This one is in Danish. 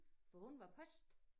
For hun var post